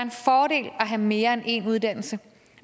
have mere end en uddannelse